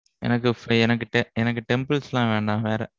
எனக்கு temples எல்லாம் வேண்டாம், வேற.